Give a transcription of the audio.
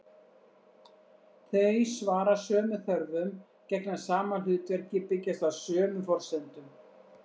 Þau svara sömu þörfum, gegna sama hlutverki, byggjast á sömu forsendum.